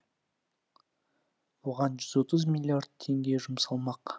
оған жүз отыз миллиард теңге жұмсалмақ